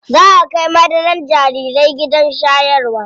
Zaa a kai madarar jarirai gidan shayarwa.